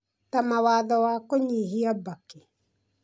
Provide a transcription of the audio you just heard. ta mawatho wa kũnyihia mbakĩ